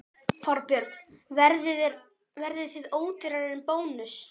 Þorbjörn: Verðið þið ódýrari en Bónus?